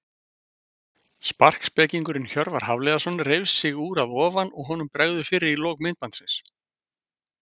Sparkspekingurinn Hjörvar Hafliðason reif sig úr að ofan og honum bregður fyrir í lok myndbandsins.